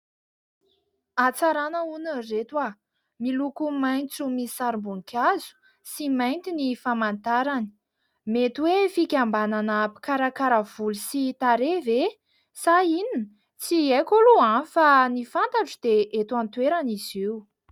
Atsarana hono ry ireto! Miloko maitso misy sarim-boninkazo sy mainty ny famantarany. Mety hoe fikambanana mpikarakara voly sy tarehy ve? Sa inona? Tsy aiko aloha fa ny fantatro dia eto an-toerana izy io.